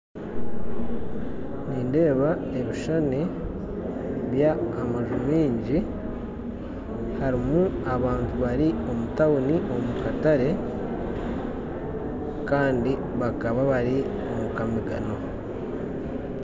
Nindeeba ebishushani by'amaju mingi, harimu abantu bari omu tawuni omukatare, kandi bakaba bari omukamigano.